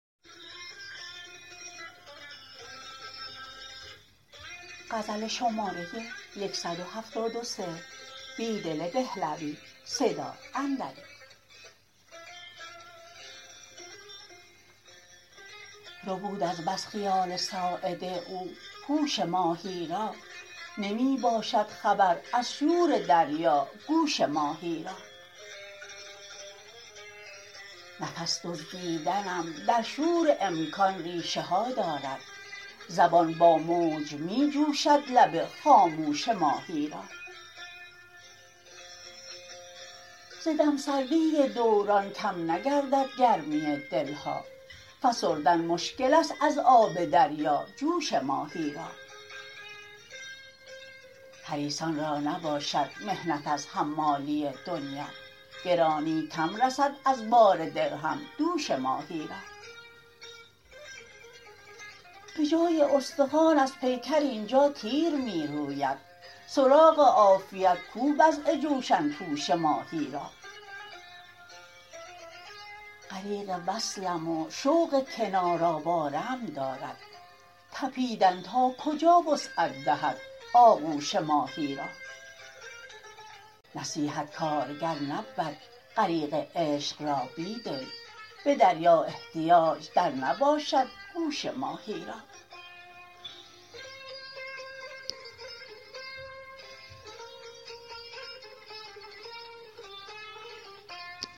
ربود از بس خیال ساعد او هوش ماهی را نمی باشد خبر از شور دریا گوش ماهی را نفس دزدیدنم در شور امکان ریشه ها دارد زبان با موج می جوشد لب خاموش ماهی را ز دم سردی دوران کم نگردد گرمی دل ها فسردن مشکل است از آب دریا جوش ماهی را حریصان را نباشد محنت از حمالی دنیا گرانی کم رسد از بار درهم دوش ماهی را به جای استخوان از پیکر اینجا تیر می روید سراغ عافیت کو وضع جوشن پوش ماهی را غریق وصلم و شوق کنار آواره ام دارد تپیدن ناکجا وسعت دهد آغوش ماهی را نصیحت کارگر نبود غریق عشق را بیدل به دریا احتیاج در نباشد گوش ماهی را